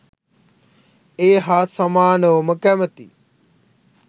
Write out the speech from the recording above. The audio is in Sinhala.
ඒ හා සමානවම කැමතියි.